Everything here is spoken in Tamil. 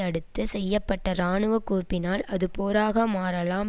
அடுத்து செய்ய பட்ட இராணுவ குவிப்பினால் அது போராக மாறலாம்